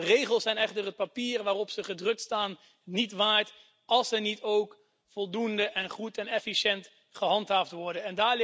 Regels zijn echter het papier waarop ze gedrukt staan niet waard als ze niet ook voldoende, goed en efficiënt gehandhaafd worden.